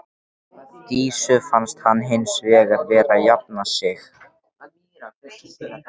Dísu fannst hann hins vegar vera að jafna sig.